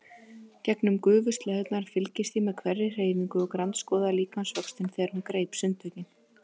Gegnum gufuslæðurnar fylgdist ég með hverri hreyfingu og grandskoðaði líkamsvöxtinn þegar hún greip sundtökin.